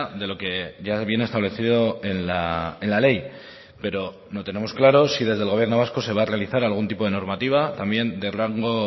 de lo que ya viene establecido en la ley pero no tenemos claro si desde el gobierno vasco se va a realizar algún tipo de normativa también de rango